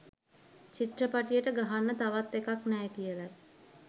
චිත්‍රපටියට ගහන්න තවත් එකක් නෑ කියලයි.